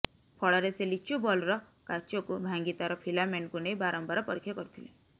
ଫଳରେ ସେ ଲିଚୁ ବଲ୍ବର କାଚକୁ ଭାଙ୍ଗି ତାର ଫିଲାମେଣ୍ଟକୁ ନେଇ ବାରମ୍ବାର ପରୀକ୍ଷା କରିଥିଲେ